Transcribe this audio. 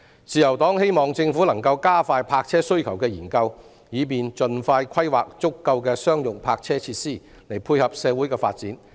自由黨希望政府能夠加快泊車需求的研究，以便盡快規劃足夠的商用泊車設施，配合社會的發展。